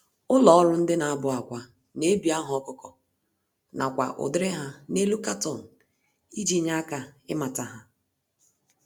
Ụlọ-ọrụ-na-abụ-ákwà n'ebi aha ọkụkọ, nakwa ụdịrị há n'elu carton iji nye aka ịmata há